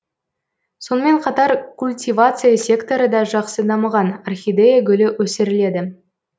сонымен қатар культивация секторы да жақсы дамыған орхидея гүлі өсіріледі